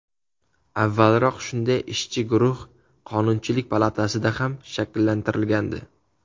Avvalroq shunday ishchi guruh Qonunchilik palatasida ham shakllantirilgandi .